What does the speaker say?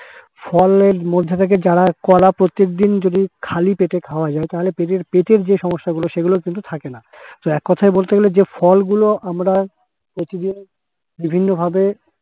ফলের মধ্যে থেকে যারা কলা প্রত্যেকদিন যদি খালি পেটে খাওয়া যায় তাহলে পেটের পেটের যে সমস্যাগুলো সেগুলো কিন্তু থাকে না তো এক কথায় বলতে গেলে যে ফল গুলো আমরা প্রতিদিন বিভিন্নভাবে